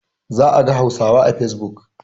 Za a ga Hausawa a facebook.